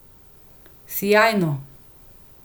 Sijajno.